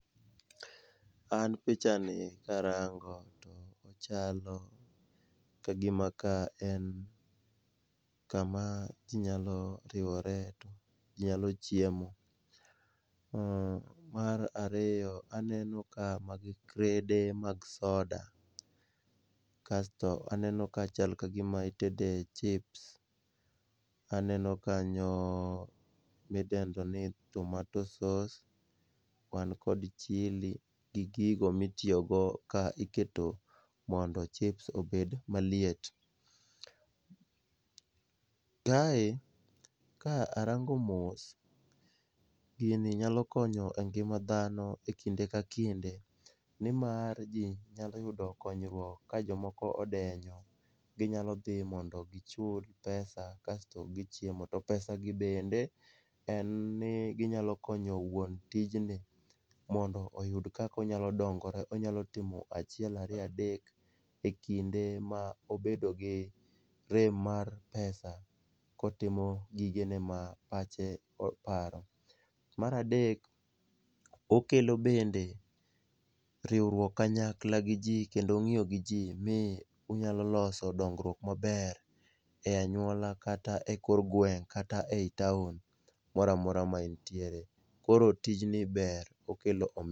An pichani, karango to ochalo ka gima ka en kama ji nyalo riwore to nyalo chiemo, mar ariyo, aneno ka magi crede mag soda, kasto aneno ka chal ka gima itede chips, aneno kanyo midendo ni [cs[tomato sauce, wan kod chili gi gigo mitiyogo ka iketo mondo chips obed maliet. Kae ka arango mos, gini nyalo konyo e ngima dhano e kinde ka kinde nimar ji nyalo yudo konyruok ka jomoko odenyo, ginyalo dhi mondo gichul pesa kasto gichiemo. To pesagi bende en ni ginyalo konyo wuon tijni mondo oyud kaka onyalo dongore, onyalo timo achiel ariyo adek e kinde ma obedi rem mar pesa kotimo gigene ma pache oparo. Mar adek, okelo bende riwruok kanyakla gi ji kendo ng'iyo gi ji mi unyalo loso dongruok maber,e anyuola kata e kor gweng' kata ei taon mora mora ma intiere. Koro tijni ber okelo omenda.